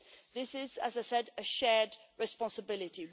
This is, as I said, a shared responsibility.